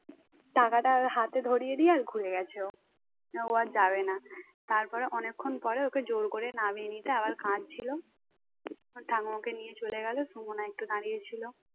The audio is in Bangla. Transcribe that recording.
টাকাটা ওর হাতে ধরিয়ে দিয়ে আর ভুলে গেছো যাবেনা তারপর অনেকক্ষণ পরে ওকে জোর করে নামিয়ে নিয়েছে আবার কাঁদছিল ওর ঠাকুমাকে নিয়ে চলে গেল সুমনা একটু দাঁড়িয়েছিল